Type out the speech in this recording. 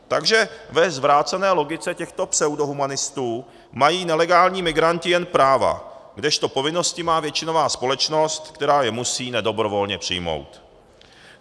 Takže ve zvrácené logice těchto pseudohumanistů mají nelegální migranti jen práva, kdežto povinnosti má většinová společnost, která je musí nedobrovolně přijmout.